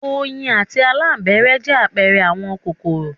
Oyin àti labalábá jẹ́ àpẹẹrẹ àwọn kòkòrò.